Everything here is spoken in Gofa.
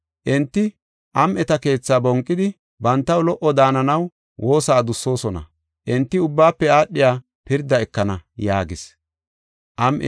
Enti am7eta keethaa bonqidi, bantaw lo77o daananaw woosa adussosona; enti ubbaafe aadhiya pirdaa ekana” yaagis.